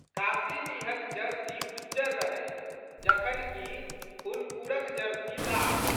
काशीडीहक jersey उज्जर रहै जखन कि फुलपुरक जर्सी लाल।